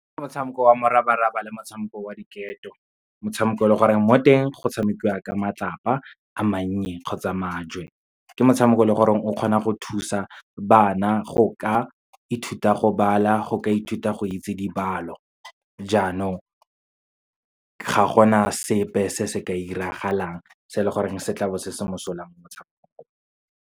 Ke motshameko wa morabaraba le motshameko wa diketo, motshameko o leng gore mo teng, go tshamekiwa ka matlapa a mannye kgotsa majoe. Ke motshameko o leng gore o kgona go thusa bana go ka ithuta go bala, go ka ithuta go itse dibalo. Jaanong, ga gona sepe se se ka iragalang se e le goreng se tla bo se se mosola mo motshamekong.